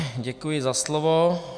Děkuji za slovo.